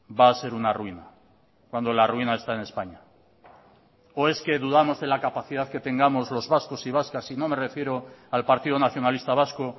va a ser una ruina cuando la ruina está en españa o es que dudamos de la capacidad que tengamos los vascos y vascas y no me refiero al partido nacionalista vasco